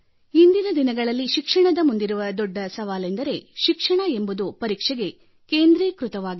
ಇಂದಿನ ದಿನಗಳಲ್ಲಿ ಶಿಕ್ಷಣದ ಮುಂದಿರುವ ದೊಡ್ಡ ಸವಾಲೆಂದರೆ ಶಿಕ್ಷಣ ಎಂಬುದು ಪರೀಕ್ಷೆಗೆ ಕೇಂದ್ರೀಕೃತವಾಗಿದೆ